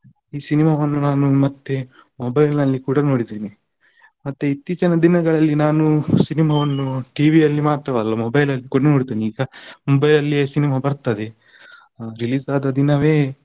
ಈ cinema ವನ್ನು ನಾನು ಮತ್ತೆ mobile ನಲ್ಲಿ ಕೂಡ ನೋಡಿದ್ದೇನೆ. ಮತ್ತೆ ಇತ್ತೀಚಿನ ದಿನಗಳಲ್ಲಿ ನಾನು cinema ವನ್ನು TV ಯಲ್ಲಿ ಮಾತ್ರವಲ್ಲ mobile ಅಲ್ಲಿ ಕೂಡ ನೋಡ್ತೇನೆ ಈಗ mobile ಅಲ್ಲಿಯೆ cinema ಬರ್ತದೆ. release ಆದ ದಿನವೇ.